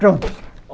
Pronto.